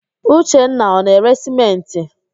Uchenna ọ na-ere sịmentị?